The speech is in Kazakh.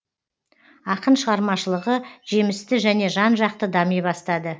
ақын шығармашылығы жемісті және жан жақты дами бастады